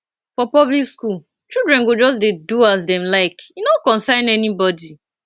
for public skool children go just dey do as dem like e no concern anybodi